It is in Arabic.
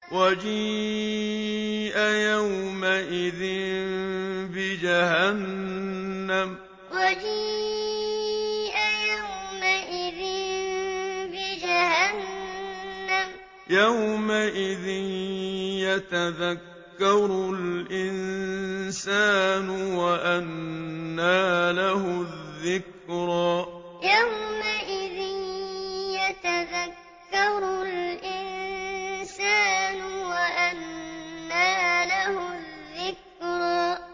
وَجِيءَ يَوْمَئِذٍ بِجَهَنَّمَ ۚ يَوْمَئِذٍ يَتَذَكَّرُ الْإِنسَانُ وَأَنَّىٰ لَهُ الذِّكْرَىٰ وَجِيءَ يَوْمَئِذٍ بِجَهَنَّمَ ۚ يَوْمَئِذٍ يَتَذَكَّرُ الْإِنسَانُ وَأَنَّىٰ لَهُ الذِّكْرَىٰ